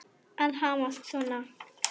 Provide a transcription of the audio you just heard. Að hamast svona.